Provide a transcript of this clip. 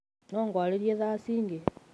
No ngũarĩrĩe thaa ĩnge?